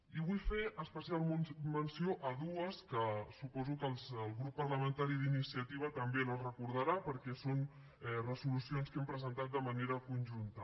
i vull fer especial menció de dues que suposo que el grup parlamentari d’iniciativa també les recordarà perquè són resolucions que hem presentat de manera conjunta